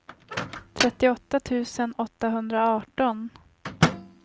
trettioåtta tusen åttahundraarton